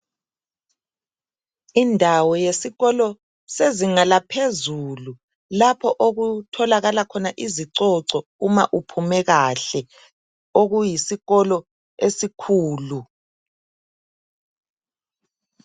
Indawo yesikolo sezinga laphezulu lapho okutholakala khona izicoco uma uphume kahle okuyisikolo esikhulu